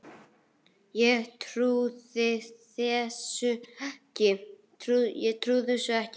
Ég trúði þessu ekki.